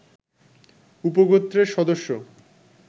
উপগোত্রের সদস্য